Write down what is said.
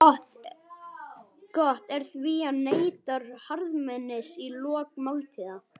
Gott er því að neyta harðmetis í lok máltíða.